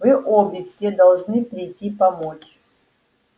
вы обе все вы должны прийти помочь